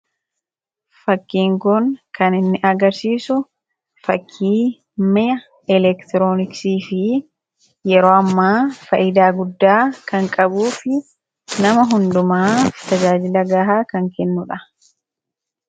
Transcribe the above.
Fakkiin kun kan inni agarsiisu fakkii mi'a elektirooniksii fi yeroo ammaa faayidaa guddaa kan qabuu fi nama hundumaa tajaajila gahaa kan kennudha.